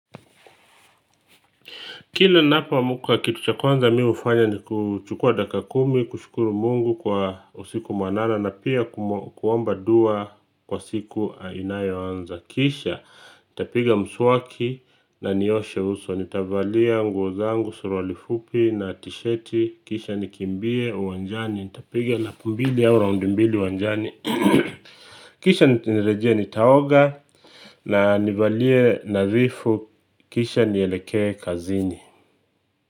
Kila ninapoamka kitu cha kwanza mi hufanya ni kuchukua dakika kumi, kushukuru mungu kwa usiku mwanana na pia kuomba dua kwa siku inayoanza. Kisha nitapiga mswaki na nioshe uso, nitavalia nguo zangu suruali fupi na tisheti kisha nikimbie uwanjani, nitapiga lapu mbili au raundi mbili uwanjani kisha nirejee nitaoga na nivalie nadhifu, kisha nielekee kazini.